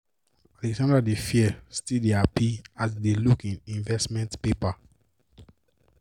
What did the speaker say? alexandra dey fear still dey happy as e dey look im investment paper.